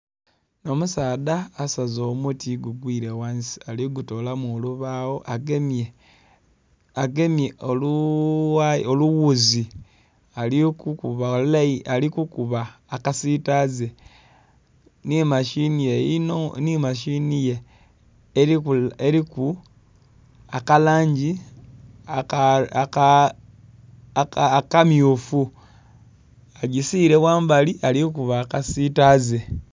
Omusaadha asaze omuti gugwire ghansi aligutolamu olubagho, agemye olughuzi ali kukuba akasitaze nhi mashini ye eriku akalangi akamyufu agisiire ghambali ali kuba akasitaze.